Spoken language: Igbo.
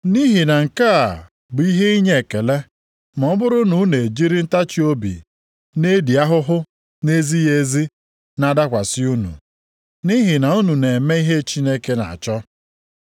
Nʼihi na nke a bụ ihe inye ekele ma ọ bụrụ na unu ejiri ntachiobi na-edi ahụhụ na-ezighị ezi na-adakwasị unu, nʼihi na unu na-eme ihe Chineke na-achọ.